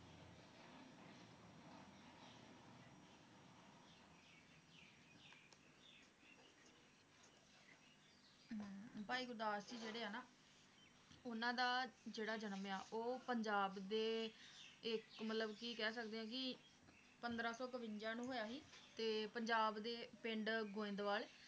ਭਾਈ ਗੁਰਦਾਸ ਜੀ ਜਿਹੜੇ ਆ ਨਾ ਉਹਨਾਂ ਦਾ ਜਿਹੜਾ ਜਨਮ ਆ, ਉਹ ਪੰਜਾਬ ਦੇ ਇਕ ਮਤਲਬ ਕਿ ਕਹਿ ਸਕਦੇ ਓ ਕਿ ਪੰਦ੍ਰਹ ਸੌ ਕਵਿੰਜਾ ਨੂੰ ਹੋਇਆ ਹੀ ਤੇ ਪੰਜਾਬ ਦੇ ਪਿੰਡ ਗੋਇੰਦਵਾਲ